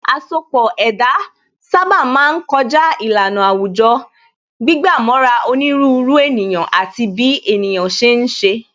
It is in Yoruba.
Asọpọ̀ ẹ̀dá sábà máa ń kọjá ìlànà àwùjọ, gbígbà mọ́ra onírúurú ènìyàn àti bí ènìyàn ṣe ń ṣe